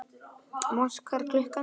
Mosi, hvað er klukkan?